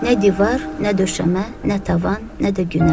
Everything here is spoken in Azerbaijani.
Nə divar, nə döşəmə, nə tavan, nə də günəş.